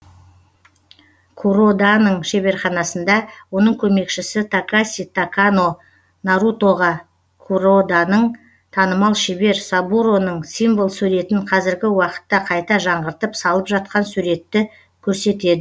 куроданың шеберханасында оның көмекшісі такаси такано нарутоға куроданың танымал шебер сабуроның символ суретін қазіргі уақытта қайта жаңғыртып салып жатқан суретті көрсетеді